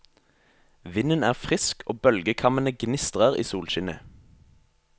Vinden er frisk og bølgekammene gnistrer i solskinnet.